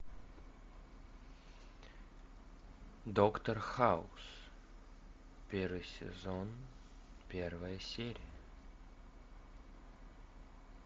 доктор хаус первый сезон первая серия